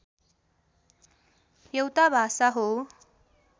एउटा भाषा हो